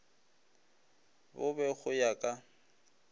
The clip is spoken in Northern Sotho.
bo be go ya ka